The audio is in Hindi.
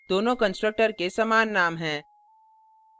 दोनों constructors के समान name हैं